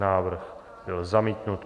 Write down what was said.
Návrh byl zamítnut.